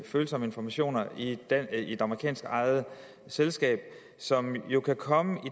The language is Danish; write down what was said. følsomme informationer i et amerikansk ejet selskab som jo kan komme